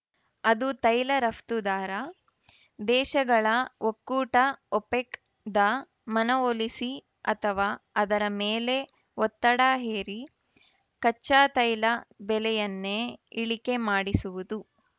ಅದು ತೈಲ ರಫ್ತುದಾರ ದೇಶಗಳ ಒಕ್ಕೂಟ ಒಪೆಕ್‌ದ ಮನವೊಲಿಸಿ ಅಥವಾ ಅದರ ಮೇಲೆ ಒತ್ತಡ ಹೇರಿ ಕಚ್ಚಾತೈಲ ಬೆಲೆಯನ್ನೇ ಇಳಿಕೆ ಮಾಡಿಸುವುದು